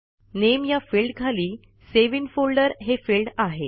नामे या फिल्डखाली save in folder हे फिल्ड आहे